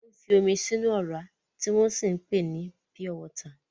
Wọ́n ń fi omi sínú ọ̀rá, tí wọ́n sì ń pèé ní pure water.